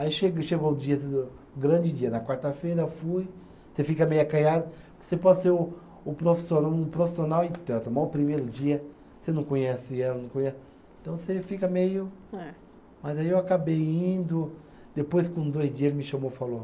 Aí chega chegou o dia, o grande dia, na quarta-feira eu fui, você fica meio acanhado, você pode ser um um profissiona, um profissional, e tanto, mas o primeiro dia, você não conhece ela, não conhe. Então você fica meio, mas aí eu acabei indo, depois com dois dias ele me chamou e falou,